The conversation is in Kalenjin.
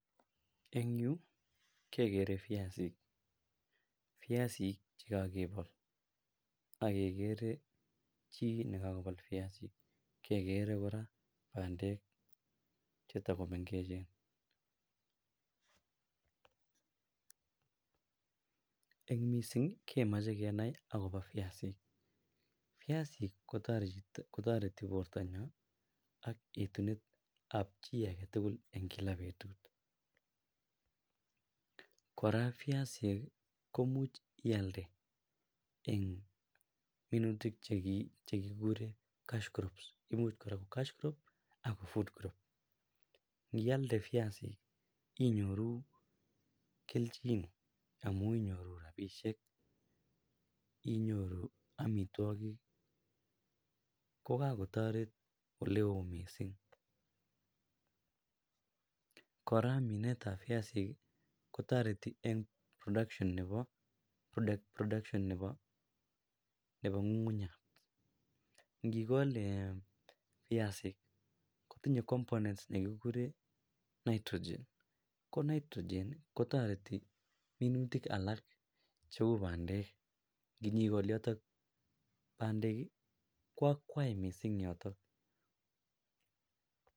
en yuu kegere byasinik, byasinik chegogebool ak kegere chii negagobool vyasii kegere koraa bandeek chetagomengechen en mising kemoche kenai agobo vyasiik, vyassik kotoreti bortonyoon ak etunet ab chii agetugul en kila betuut, koraa vyasiik komuch iaalde en minutik chegigureen cash crops imuuch koraa ko cash crop ak food crop nialde vyasii inyoruu kelchin amuun inyoruu rabisheek inyoruu omitwogik ko kagotoret oleoo mising koaaa mineet ab vyasinik iih kotoretin een production neboo ngungunyaat, ngigool eeh kotinye components negigureen nitrogen ko nitrogen kotoreti minutik alaak cheuu bandeek inyigool yotok bandeek iih ko akwaai mising yoton.